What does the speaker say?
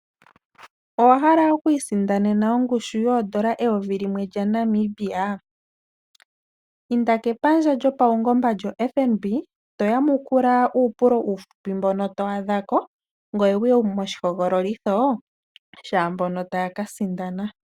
Owahala okwiisindanena oondola eyovi limwe lyaNamibia? Inda kepandja lyopaungomba lyoFNB, toyamukula uupulo uufupi mbono to adhako, ngweye wuye moshihogololitho shaambono taya kasindana.